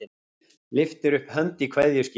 Lyftir upp hönd í kveðjuskyni.